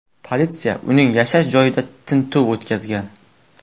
Politsiya uning yashash joyida tintuv o‘tkazgan.